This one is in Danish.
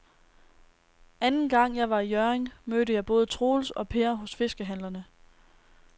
Anden gang jeg var i Hjørring, mødte jeg både Troels og Per hos fiskehandlerne.